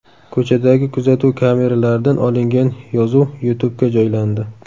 Ko‘chadagi kuzatuv kameralaridan olingan yozuv YouTube’ga joylandi .